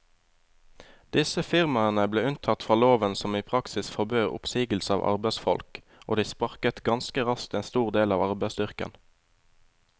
Disse firmaene ble unntatt fra loven som i praksis forbød oppsigelse av arbeidsfolk, og de sparket ganske raskt en stor del av arbeidsstyrken.